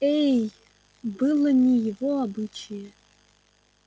эй было не его обычае